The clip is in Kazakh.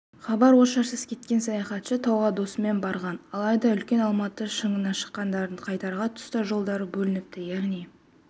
хабар-ошарсыз кеткен саяхатшы тауға досымен барған алайда үлкен алматы шыңына шыққандардың қайтар тұста жолдары бөлініпті яғни